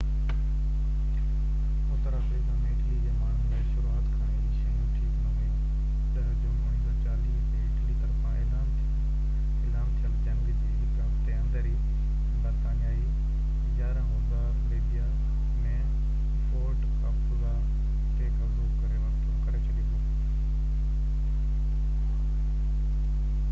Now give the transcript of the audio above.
Uttar Africa ۾ Italy جي ماڻهن لاءِ شروعات کان ئي شيون ٺيڪ نہ هويون 10 جون 1940 تي اٽلي طرفان اعلان ٿيل جنگ جي هڪ هفتي اندر ئي برطانيائي 11 هوزا ليبيا ۾ فورٽ ڪاپوزا تي قبضو ڪري ڇڏيو هو